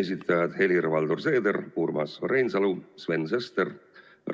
Esitajad: Helir-Valdor Seeder, Urmas Reinsalu, Sven Sester,